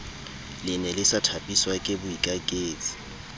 lene le sa thapiswake boikaketsi